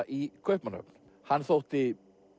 í Kaupmannahöfn hann þótti